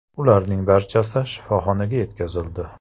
Ularning barchasi shifoxonaga yetkazildi.